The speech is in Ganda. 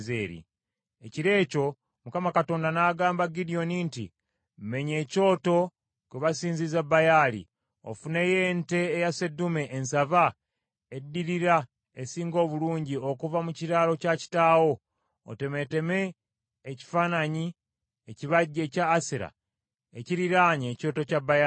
Ekiro ekyo Mukama Katonda n’agamba Gidyoni nti, “Mmennya ekyoto kwe basinziza Baali, ofuneyo ente eya sseddume ensava eddirira esinga obulungi okuva mu kiraalo kya kitaawo; otemeeteme ekifaananyi ekibajje ekya Asera ekiriraanye ekyoto kya Baali: